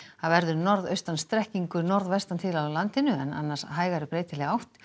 það verður norðaustan strekkingur norðvestan til á landinu en annars hægari breytileg átt